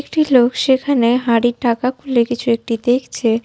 একটি লোক সেখানে হাঁড়ির ঢাকা খুলে কিছু একটি দেখছে।